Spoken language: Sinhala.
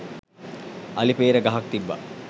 අලි පේර ගහක් තිබ්බා.